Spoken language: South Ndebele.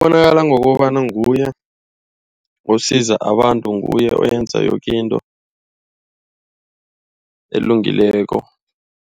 Ubonakala ngokobana nguye osiza abantu, nguye owenza yoke into elungileko.